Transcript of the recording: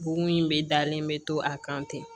Bon in bɛ dalen bɛ to a kan ten